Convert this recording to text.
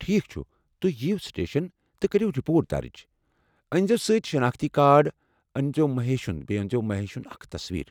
ٹھیكھ چُھ ، تُہۍ یِیو٘ سٹیشن تہٕ کٔرو رپورٹ درج، أنۍ زٮ۪وٕ سۭتۍ شناختی کارڈ أنزیو مہیشن تہٕ بییہِ أنزیو مہیشن اكھ تصویر ۔